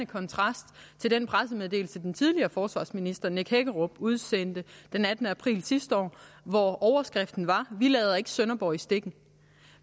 kontrast til den pressemeddelelse den tidligere forsvarsminister nick hækkerup udsendte den attende april sidste år under overskriften vi lader ikke sønderborg i stikken